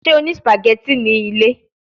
Ṣe o ni spaghetti ni ile?